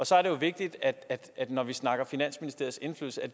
så er det vigtigt at når vi snakker om finansministeriets indflydelse at